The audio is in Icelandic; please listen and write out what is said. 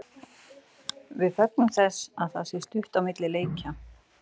Við fögnum þess að það sé stutt á milli leikja.